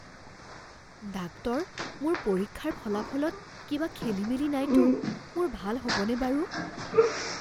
Doctor, মোৰ পৰীক্ষাৰ ফলাফলত কিবা খেলিমেলি নাইতো? মোৰ ভাল হ'বনে বাৰু?